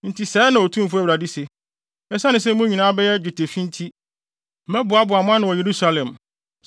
Ɛno nti sɛɛ na Otumfo Awurade se: ‘Esiane sɛ mo nyinaa abɛyɛ dwetɛfi nti, mɛboaboa mo ano wɔ Yerusalem.